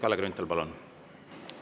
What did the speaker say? Kalle Grünthal, palun!